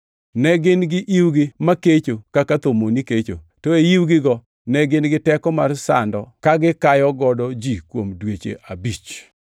Ne gin gi iwgi makecho kaka thomoni kecho, to e iwgigo ne gin gi teko mar sando kagikayogo ji kuom dweche abich.